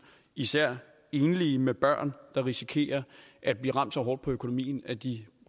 især enlige med børn der risikerer at blive ramt så hårdt på økonomien at de